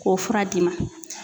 K'o fura d'i ma.